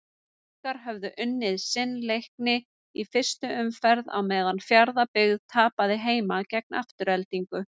Haukar höfðu unnið sinn Leikni í fyrstu umferð á meðan Fjarðarbyggð tapaði heima gegn Aftureldingu.